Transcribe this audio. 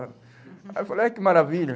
Aí eu falei, ai, que maravilha.